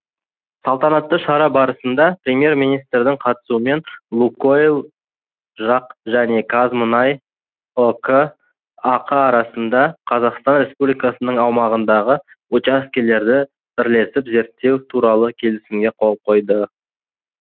салтанатты шара барысында премьер министрдің қатысуымен лукойл жақ және қазмұнай ұк ақ арасында қазақстан республикасының аумағындағы учаскелерді бірлесіп зерттеу туралы келісімге қол қойылды